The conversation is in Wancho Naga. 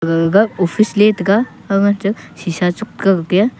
gaga ga office ley taega hang aa chu sesa chu kakga pia.